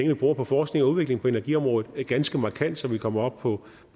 vi bruger på forskning og udvikling på energiområdet ganske markant så vi kommer op på